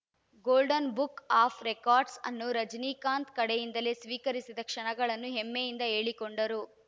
golden book of records ಅನ್ನು ರಜನಿಕಾಂತ್‌ ಕಡೆಯಿಂದಲೇ ಸ್ವೀಕರಿಸಿದ ಕ್ಷಣಗಳನ್ನು ಹೆಮ್ಮೆಯಿಂದ ಹೇಳಿಕೊಂಡರು